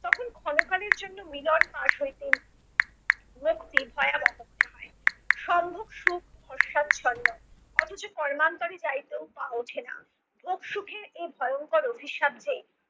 তখন ক্ষণকালের জন্য মিলন ফাঁস হইতে মুক্তি সম্ভোগ সুখ অথচ কর্মান্তরে যাইতেও পা ওঠে না। ভোগ সুখের এই ভয়ঙ্কর অভিশাপ যে